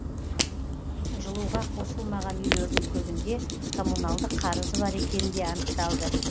жылуға қосылмаған үйлердің көбінде коммуналдық қарызы бар екені де анықталды